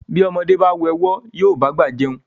Bí ọmọdé bá wẹ ọ̀wọ́ yóò bá àgbà jẹun.